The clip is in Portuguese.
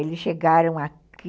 Eles chegaram aqui